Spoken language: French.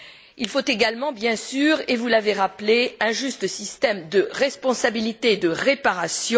Il faut également bien sûr, et vous l'avez rappelé, un juste système de responsabilité de réparation.